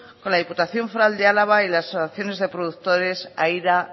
con la diputación foral de álava y las asociaciones de productores aira